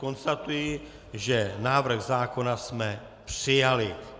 Konstatuji, že návrh zákona jsme přijali.